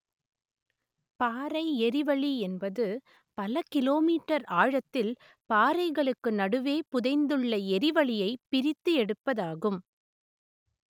பாறை எரிவளி என்பது பல கிலோ மீட்டர் ஆழத்தில் பாறைகளுக்கு நடுவே புதைந்துள்ள எரிவளியை பிரித்து எடுப்பதாகும்